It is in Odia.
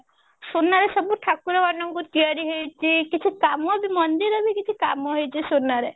ସୁନାର ସବୁ ଠାକୁର ମାନଙ୍କୁ ତିଆରି ହେଇଛି କିଛି କାମ ବି ମନ୍ଦିର ବି କିଛି କାମ ହେଇଛି ସୁନାରେ